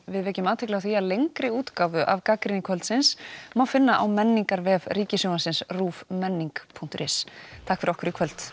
við vekjum athygli á því að lengri útgáfu af gagnrýni kvöldsins má finna á Ríkissjónvarpsins punktur is takk fyrir okkur í kvöld